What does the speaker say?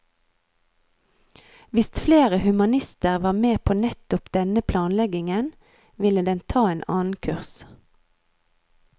Hvis flere humanister var med på nettopp denne planleggingen, ville den ta en annen kurs.